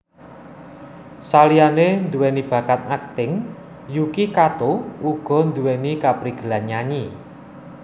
Saliyané nduwèni bakat akting Yuki Kato uga nduwèni kaprigelan nyanyi